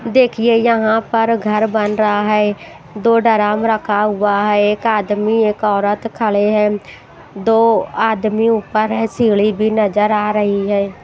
देखिए यहाँ पर घर बन रहा है दो डरम रखा हुआ है एक आदमी एक औरत खड़े हैं दो आदमी ऊपर है सीढ़ी भी नजर आ रही है।